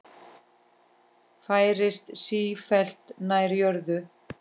Færist sífellt nær jörðu.